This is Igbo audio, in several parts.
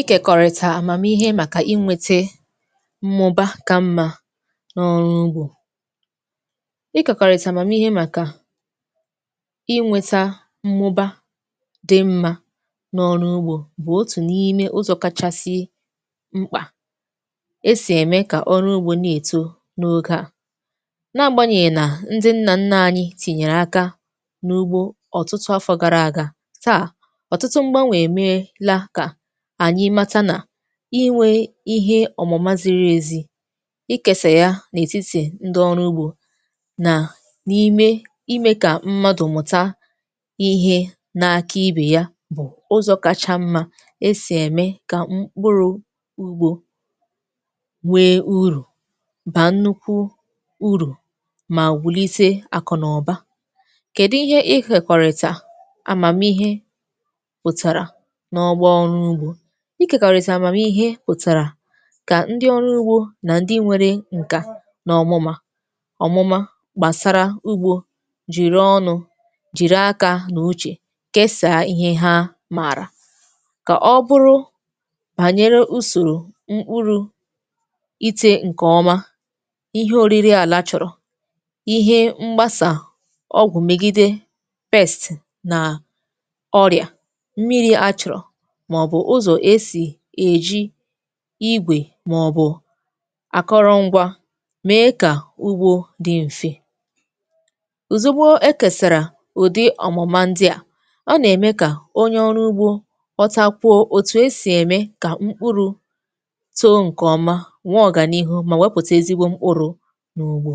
Ịkekọrịta amamihe maka inwete mmụba ka mma n’ọrụ ugbo. Ịkekọrịta amamihe maka inweta mmụba di mma n’ọrụ ugbo bụ otu n’ime ụzọ kachasị mkpa e si eme ka ọrụ ugbo na-eto n’oge a. N’agbanyeghi na ndi nna nna anyị tinyere aka n’ugbo ọtụtụ afọ gara aga, taa, ọtụtụ mgbanwe emeela ka ka anyi mata na inwe ihe ọmụma ziri ezi, ikesa ya n’etiti ndi ọrụ ugbo na n’ime ime ka mmadụ mụta ihe n’aka ibe ya bụ ụzọ kacha mma esi eme ka mkpụrụ ugbo nwee uru, baa nnukwu uru ma wụlite akụnaụba. Kedu ihe ikekọrịta amamihe ihe pụtara n’ọgbọ ọrụ ugbo? ikekọrịta amamihe pụtara ka ndị ọrụ ugbo na ndị nwere nka n’ọmụma ọmụma gbasara ugbo jiri ọnụ, jiri aka na uche kesaa ihe ha maara, ka ọ bụrụ banyere usoro mkpụrụ ite nke ọma, ihe oriri ala chọrọ, ihe mgbasa ọgwụ megide pests na ọrịa, mmiri achọrọ, ma ọ bụ ụzọ e si eji igwe ma ọ bụ akụrụngwa mee ka ugbo dị m̀fe. Ozugbo e kesara ụdị ọmụma ndị a, ọ na-eme ka onye ọrụ ugbo ghọtakwo etu e si eme ka mkpụrụ too nke ọma, nwee ọganihu ma wepụta ezigbo mkpụrụ n’ugbo.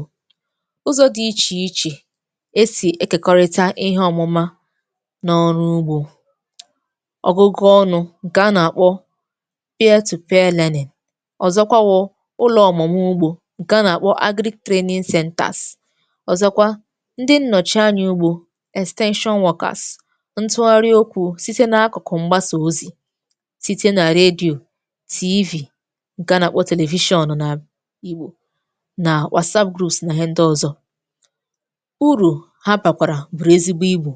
Ụzọ dị iche iche esi ekekọrịta ihe ọmụma na ọrụ ugbo; ọgụgụ ọnụ nke a na-akpọ peer to peer learning, ọzọkwa bụ ụlọ ọmụmụ ugbo nke a na-akpọ Agric Training Centres, ọzọkwa, ndị nnọchi anya ugbo (Extension Workers), ntụgharị okwu site n’akụkụ mgbasa ozi, site na radio tv nke a na-akpọ televishọn na Igbo, na Whatsapp groups na ihe ndị ọzọ. Uru ha bakwara bụrụ ezigbo ibu.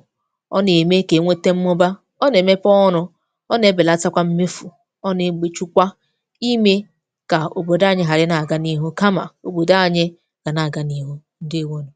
Ọ na-eme ka e nwete mmụba. Ọ na-emepe ọrụ. Ọ na-ebelata kwa mmefu. Ọ na-egbochi kwa ime ka obodo anyị ghara ịna-aga n’ihu, kama obodo anyị ga na-aga n’ihu. Ndewo nu